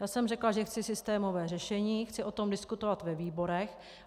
Já jsem řekla, že chci systémové řešení, chci o tom diskutovat ve výborech.